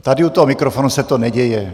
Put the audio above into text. Tady u toho mikrofonu se to neděje.